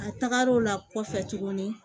A taga l'o la kɔfɛ tuguni